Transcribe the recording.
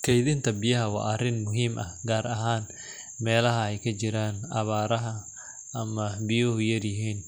Kedhinta biyaha waa arin muhiim ah gar ahan meelaha ee kajiran awaraha ama biyo yar yihin,